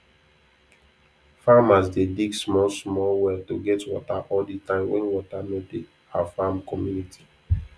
farmers dey dig small small well to get water all the time wen water no dey our farm community